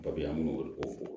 an b'o de kofɔ